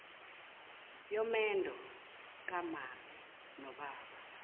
yomendo kamame nobaba